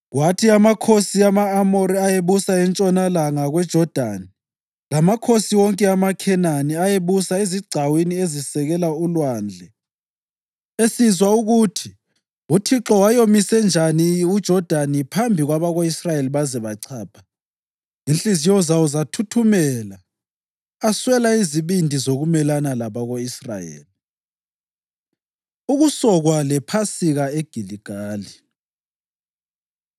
Kwathi amakhosi ama-Amori ayebusa entshonalanga kweJodani lamakhosi wonke amaKhenani ayebusa ezigcawini ezisekela ulwandle esizwa ukuthi uThixo wayomise njani uJodani phambi kwabako-Israyeli baze bachapha, inhliziyo zawo zathuthumela aswela izibindi zokumelana labako-Israyeli. Ukusokwa LePhasika EGiligali